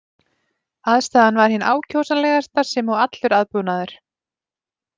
Aðstaðan var hin ákjósanlegasta sem og allur aðbúnaður.